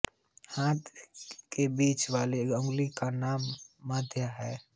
हाथ के बीच वाली अंगुली का नाम मध्यमा है